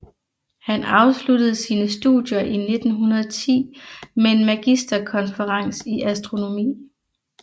Han afsluttede sine studier i 1910 med en magisterkonferens i astronomi